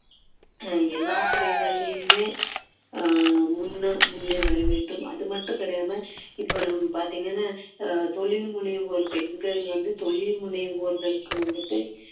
அஹ் எல்லா துறைகளிலுமே ஆஹ் முன்ன முன்னே வர வேண்டும் அது மட்டும் கிடையாம இப்போ நம்ம பார்த்தீங்கன்னா அஹ் தொழில் முனைவோர் பெண்கள் வந்து தொழில் முனைவோர்களுக்கு வந்துட்டு